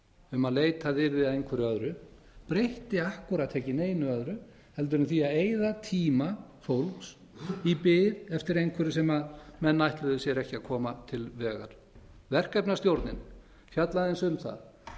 um að leitað yrði að einhverju öðru breytti akkúrat ekki neinu öðru heldur en því að eyða tíma fólks í bið eftir einhverju sem menn ætluðu sér ekki að koma til vegar verkefnastjórnin fjallaði aðeins um það